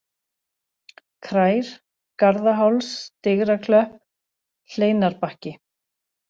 Krær, Garðaháls, Digraklöpp, Hleinarbakki